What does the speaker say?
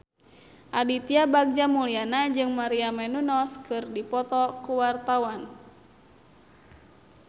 Aditya Bagja Mulyana jeung Maria Menounos keur dipoto ku wartawan